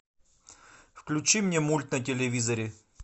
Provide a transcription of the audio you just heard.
включи мне мульт на телевизоре